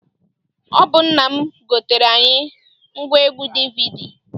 Ọ bụ nna m goteere anyị ngwaegwu DVD.